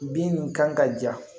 Bin nin kan ka ja